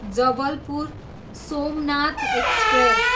Jabalpur, Somnath express